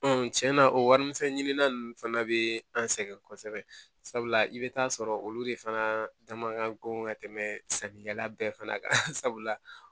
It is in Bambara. cɛn na o wari misɛnin ninnu fana bɛ an sɛgɛn kosɛbɛ sabula i bɛ taa sɔrɔ olu de fana dama ka ko ka tɛmɛ sannikɛla bɛɛ fana kan